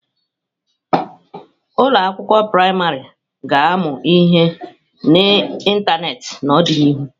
Ụlọ akwụkwọ praịmarị ga-amu ihe n'ịntanetị n'ọdịnihu.